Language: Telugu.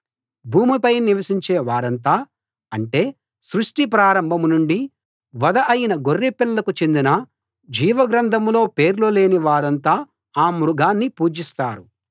భూమిపై నివసించే వారంతా అంటే సృష్టి ప్రారంభం నుండీ వధ అయిన గొర్రెపిల్లకు చెందిన జీవ గ్రంథంలో పేర్లు లేని వారంతా ఆ మృగాన్ని పూజిస్తారు